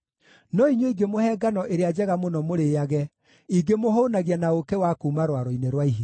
No inyuĩ ingĩmũhe ngano ĩrĩa njega mũno mũrĩĩage; ingĩmũhũũnagia na ũũkĩ wa kuuma rwaro-inĩ rwa ihiga.”